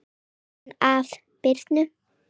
Jóhann: Af Birnu?